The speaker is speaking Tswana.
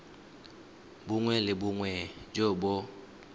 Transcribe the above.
bongwe le bongwe jo bo